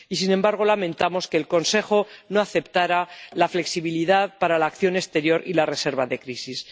Y, sin embargo, lamentamos que el Consejo no aceptara la flexibilidad para la acción exterior y la reserva de crisis.